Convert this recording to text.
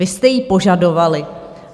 Vy jste ji požadovali.